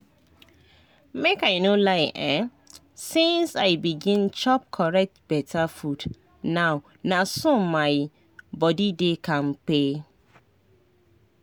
make i no lie[um]since i begin chop correct beta food now na so my body dey kampe